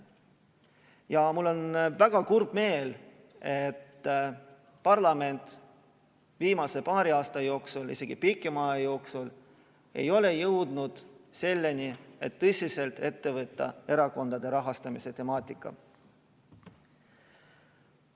Ja mul on väga kurb meel, et parlament viimase paari aasta jooksul, isegi pikema aja jooksul, ei ole jõudnud selleni, et tõsiselt ette võtta erakondade rahastamise temaatika.